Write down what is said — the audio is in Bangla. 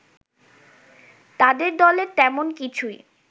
তাদের দলের তেমন কিছুই